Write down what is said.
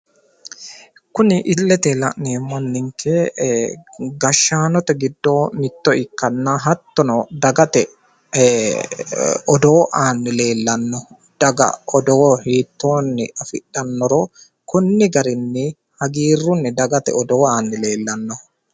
Kuni illete la'neemmo anninke gashshaanote giddo mitto ikkanna hattono dagate odoo aanni leellanno daga odoo hiittoonni afidhannoro konni garinni hagiirrunni dagate odoo aanni leellanno.